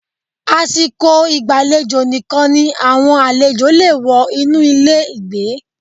Àsìkò ìgbàlejò nìkan ni àwọn àlejò le è wọ inú ilé ìgbé